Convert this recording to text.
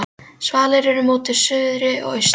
Svalir eru móti suðri og austri.